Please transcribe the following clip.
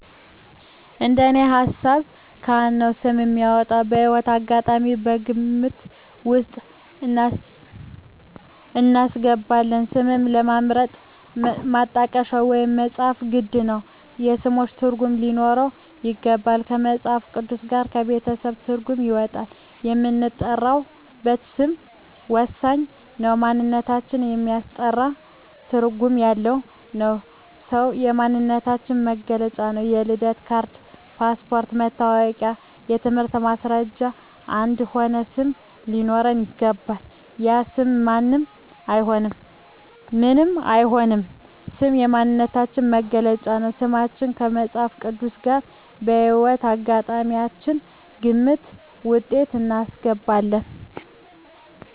እንደኔ ሀሳብ ካህን ነው ስም የሚያወጣው። የህይወት አጋጣሚም ከግምት ውስጥ እናስገባለን ስምን ለመምረጥ ማጣቀሻ ወይም መፅሀፍት ግድ ነው የስሞችን ትርጉም ሊኖረው ይገባል ከመፅሀፍ ቅዱስ ጋር ከቤተሰብ ትርጓሜ ይወጣል የምንጠራበት ስም ወሳኝ ነው ማንነታችን የሚያስጠራ ትርጓሜ ያለው ነው ስም የማንነታችን መግለጫ ነው የልደት ካርድ ,ፓስፓርቶች ,መታወቂያ የትምህርት ማስረጃችን አንድ የሆነ ስም ሊኖረው ይገባል። ያለ ስም ምንም አይሆንም ስም የማንነታችን መገለጫ ነው። ስማችን ከመፅሀፍ ቅዱስ ጋር ከህይወት አጋጣሚያችን ግምት ውስጥ እናስገባለን